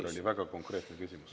See oli väga konkreetne küsimus.